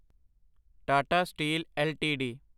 Tata steel LTD